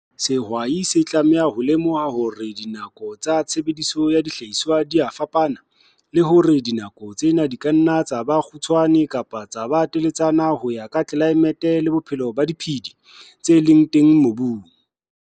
Sehwai se tlamehile ho lemoha hore dinako tsa tshebediso ya dihlahiswa di a fapana, le hore dinako tsena di ka nna tsa ba kgutshwane kapa tsa ba teletsana ho ya ka tlelaemete le bophelo ba diphedi, tse phelang, tse leng teng mobung.